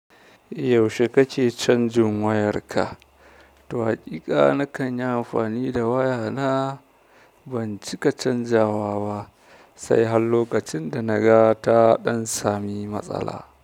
Yaushe kake canjin wayarka? Waƙiƙa na kan yi amfani da waya na, ban cika canjawa ba sai hal lokacin da na ga ta ɗan sami matsala.